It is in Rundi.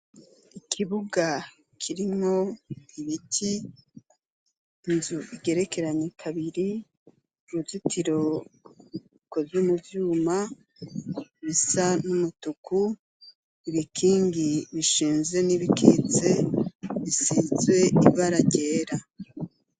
Ikibuga kirimwo ,ibiti ,inzu igerekeranye kabiri ,uruzitiro rukozwe muvyuma bisa n’umutuku ,ibikingi bishinze n’ibikitse bisize ibara ryera.